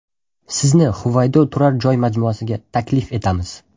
Sizni Huvaydo turar joy majmuasiga taklif etamiz.